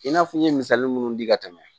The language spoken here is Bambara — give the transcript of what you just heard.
I n'a fɔ n ye misali minnu di ka tɛmɛ